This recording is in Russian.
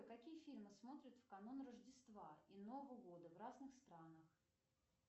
какие фильмы смотрят в канун рождества и нового года в разных странах